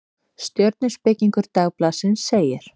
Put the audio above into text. Stjörnuspekingur Dagblaðsins segir: